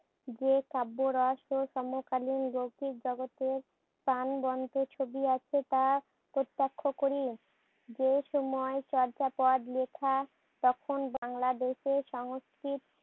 যে কাব্যরস ও সমকালীন লৌকিক জগতের প্রাণবন্ত ছবি প্রত্যক্ষ করি। যে সময় চর্যাপদ লেখা তখন বাংলাদেশের সংস্কৃত